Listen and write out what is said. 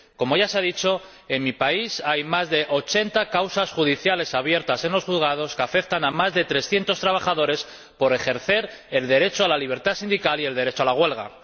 Como ya se ha dicho, en mi país hay más de ochenta causas judiciales abiertas en los juzgados que afectan a más de 300 trabajadores por ejercer el derecho a la libertad sindical y el derecho a la huelga.